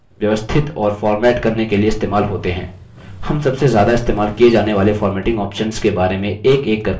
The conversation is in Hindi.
यह chart के स्थापन पृष्ठभूमि और chart के शीर्षक व्यवस्थित और फ़ॉर्मेट करने के लिए इस्तेमाल होते हैं